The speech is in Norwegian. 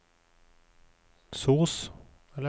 sos